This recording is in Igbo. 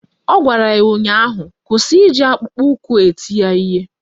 Ọ gwara ya ụnyaahụ "Kwụsị iji akpụkpọụkwụ eti ya ihe"!